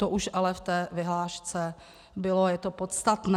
To už ale ve vyhlášce bylo a je to podstatné.